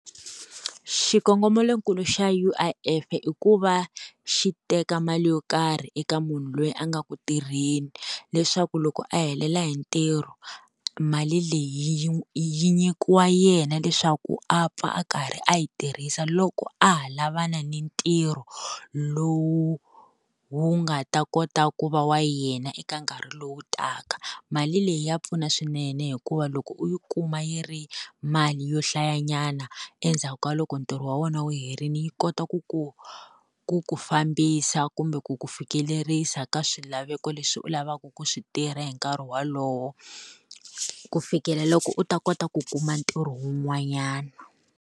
Xikongomelonkulu xa U_I_F i ku va xi teka mali yo karhi eka munhu loyi a nga ku tirheni leswaku loko a helele hi ntirho mali leyi yi yi nyikiwa yena, leswaku a pfa a karhi a yi tirhisa loko a ha lavana ni ntirho lowu wu nga ta kota ku va wa yena eka nkarhi lowu taka. Mali leyi ya pfuna swinene hikuva loko u yi kuma yi ri mali yo hlayanyana endzhaku ka loko ntirho wa wena wu herile yi kota ku ku ku ku fambisa kumbe ku ku fikelerisa ka swilaveko leswi u lavaka ku swi tirha hi nkarhi wolowo, ku fikela loko u ta kota ku kuma ntirho wun'wanyana.